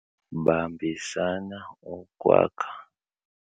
Bambisana ukwakha